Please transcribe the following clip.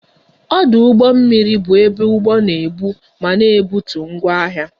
Ọdụ ụgbọ mmiri bụ ebe ụgbọ na ebu ma na-ebutu ngwa ahịa